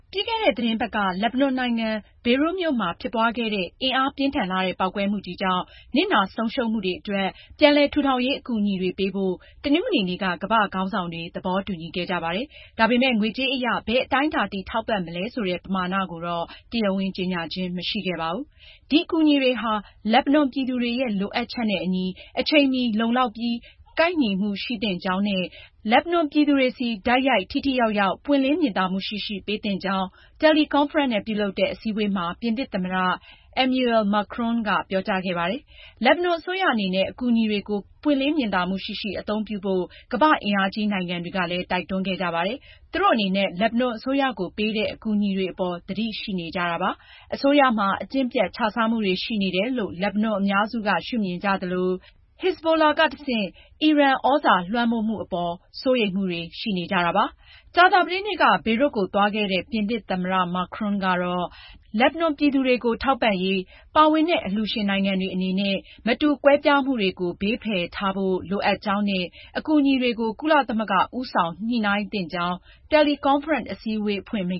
ပြီးခဲ့တဲ့ သီတင်းပတ်က လက်ဘနွန်နိုင်ငံ ဘေရွတ်မြို့မှာ ဖြစ်ပွားခဲ့တဲ့ အင်အားပြင်းထန်လှတဲ့ ပေါက်ကွဲမှုကြီးကြောင့် နစ်နာဆုံးရှုံးမှုတွေအတွက် ပြန်လည်ထူထောင်ရေး အကူအညီတွေပေးဖို့ တနင်္ဂနွေနေ့က ကမ္ဘာ့ခေါင်းဆောင်တွေ သဘောတူညီခဲ့ကြပါတယ်။ ဒါပေမယ့် ငွေကြေးအရ ဘယ်အတိုင်းအတာထိ ထောက်ပံ့မလဲဆိုတဲ့ ပမာဏကိုတော့ တရားဝင် ကြေညာခြင်း မရှိခဲ့ပါဘူး။ ဒီအကူအညီတွေဟာ လက်ဘနွန်ပြည်သူတွေရဲ့ လိုအပ်ချက်နဲ့အညီ အချိန်မီ လုံလောက်ပြီး ကိုက်ညီမှု ရှိသင့်ကြောင်းနဲ့ လက်ဘနွန်ပြည်သူတွေဆီ တိုက်ရိုက် ထိထိရောက်ရောက်၊ ပွင့်လင်းမြင်သာမှုရှိရှိ ပေးသင့်ကြောင်း တယ်လီကွန်ဖရင့်နဲ့ ပြုလုပ်တဲ့ အစည်းအဝေးမှာ ပြင်သစ်သမ္မတ Emmanuel Macron က ပြောကြားခဲ့ပါတယ်။ လက်ဘနွန်အစိုးရအနေနဲ့ အကူအညီတွေကို ပွင့်လင်းမြင်သာမှုရှိရှိ အသုံးပြုဖို့ ကမ္ဘာ့အင်အားကြီး နိုင်ငံတွေက တိုက်တွန်းခဲ့ကြပါတယ်။ သူတို့အနေနဲ့ လက်ဘနွန်အစိုးရကို ပေးတဲ့ အကူအညီတွေအပေါ် သတိရှိနေတာ ဖြစ်ပါတယ်။ အစိုးရမှာ အကျင့်ပျက် ခြစားမှုတွေ ရှိနေတယ်လို့ လက်ဘနွန်အများစုက ရှုမြင်ကြသလို Shi'ite အုပ်စုဖြစ်တဲ့ Hezbollah ကနေတဆင့် အီရန် သြဇာလွှမ်းမိုးမှုတွေအပေါ် စိုးရိမ်မှုတွေ ရှိနေကြတာပါ။ ကြာသပတေးနေ့က ဘေရွတ်ကို သွားခဲ့တဲ့ ပြင်သစ်သမ္မတ Macron ကတော့ လက်ဘနွန်ပြည်သူတွေကို ထောက်ပံ့ရေး ပါဝင်တဲ့ အလှူရှင်နိုင်ငံတွေအနေနဲ့ မတူကွဲပြားမှုတွေကို ဘေးဖယ်ထားဖို့ လိုအပ်ကြောင်းနဲ့ အကူအညီတွေကို ကုလသမဂ္ဂ ဦးဆောင်ညှိနှိုင်းသင့်ကြောင်း တယ်လီကွန်ဖရင့် အစည်းအဝေး အဖွင့်မိ